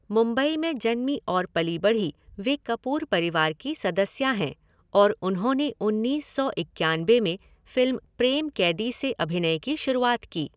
मुंबई में जन्मी और पली बढ़ी, वे कपूर परिवार की सदस्या हैं और उन्होंने उन्नीस सौ इक्यानबे में फिल्म प्रेम क़ैदी से अभिनय की शुरुआत की।